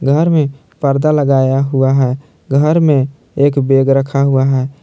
घर में परदा लगाया हुआ है घर में एक बेग रखा हुआ है।